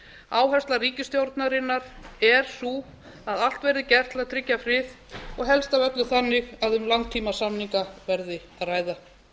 áhersla ríkisstjórnarinnar er sú að allt verði gert til að tryggja frið og helst af öllu þannig að um langtímasamninga verði að ræða